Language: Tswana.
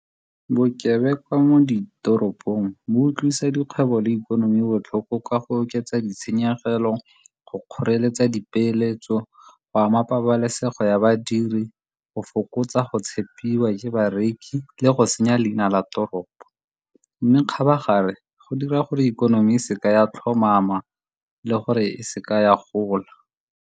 Bokebekwa mo ditoropong bo utlwisa dikgwebo le ikonomi botlhoko ka go oketsa ditshenyegelo, go kgoreletsa dipeeletso, go ama pabalesego ya badiri, go fokotsa go tshepiwa je bareki le go senya leina la toropo. Mme kgabagare go dira gore ikonomi e seka ya tlhomama le gore e se ka ya gola.